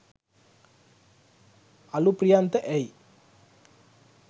අළුප්‍රියන්ත ඇයි